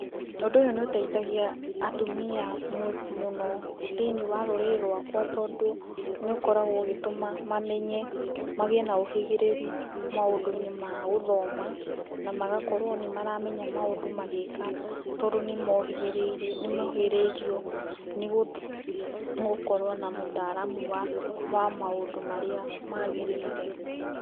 Ũndũ ũyũ nĩuteithagia atumia mũno mũno thĩinĩ wa rũrĩrĩ rũakwa tondũ nĩũkoragwo ũgĩtũma mamenye ,magĩe na ũgĩrĩru maũndũ ma gũthoma na magakorwa nĩmaramenya maũndũ magĩka ,tondũ nĩmogĩrĩrĩo nĩgũkorwo na ũtaramu wa maũndũ marĩa magĩrĩire .